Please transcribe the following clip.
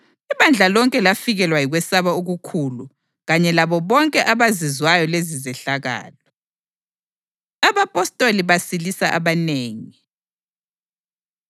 Ibandla lonke lafikelwa yikwesaba okukhulu kanye labo bonke abazizwayo lezizehlakalo. AbaPostoli Basilisa Abanengi